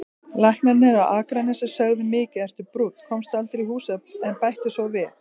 Læknarnir á Akranesi sögðu: Mikið ertu brúnn, komstu aldrei í hús, en bættu svo við